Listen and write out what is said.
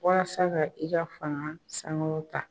Walasa ka i ka faga sankɔrɔ tan